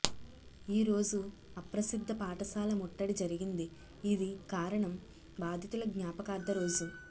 ఈ రోజు అప్రసిద్ధ పాఠశాల ముట్టడి జరిగింది ఇది కారణం బాధితుల జ్ఞాపకార్థ రోజు